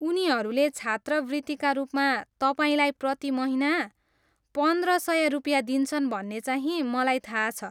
उनीहरूले छात्रवृत्तिका रूपमा तपाईँलाई प्रति महिना पन्द्र सय रुपियाँ दिन्छन् भन्ने चाहिँ मलाई थाहा छ।